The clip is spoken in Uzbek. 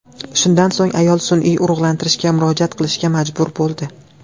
Shundan so‘ng ayol sun’iy urug‘lantirishga murojaat qilishga majbur bo‘ldi.